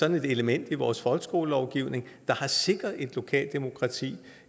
et element i vores folkeskolelovgivning der har sikret et lokalt demokrati